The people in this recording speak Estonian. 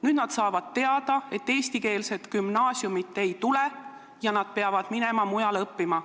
Nüüd saavad inimesed teada, et eestikeelset gümnaasiumi ei tule ja lapsed peavad minema mujale õppima.